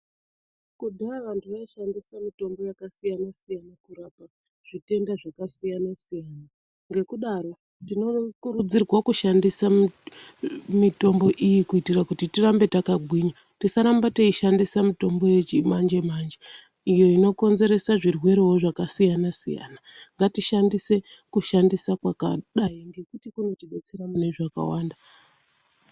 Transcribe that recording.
Kudhaya vantu vaishandise mitombo yakasiyana siyana kurapa zvitenda zvakasiya siyana. Ngekudaro tinokurudzirwa kushandisa mitombo iyi kuti tirambe takagwinya. Tisaramba teishandisa mitombo yechimanje manje iyo inokonzeserewo zvirwere zvakasiyana siyana. Ngatishandise kushandisa kwakadai ngekuti kunotidetsera mune zvakawanda.